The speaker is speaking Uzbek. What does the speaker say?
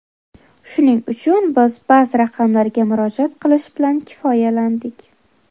Shuning uchun, biz ba’zi raqamlarga murojaat qilish bilan kifoyalandik.